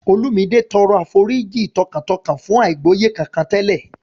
Olumide tọrọ àforíjì tọkàntọkàn fún àìgbọ́yé kankan tẹ́lẹ̀